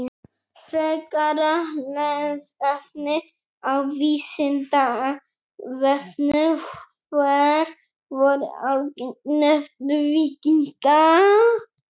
Frekara lesefni á Vísindavefnum: Hver voru algeng nöfn víkinga?